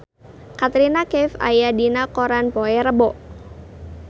Katrina Kaif aya dina koran poe Rebo